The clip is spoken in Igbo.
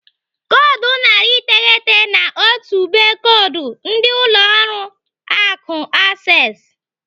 Koodu narị iteghete na otu be koodu ndị ụlọ akụ Access.